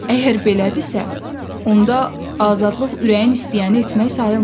Əgər belədirsə, onda azadlıq ürəyin istəyəni etmək sayılmır.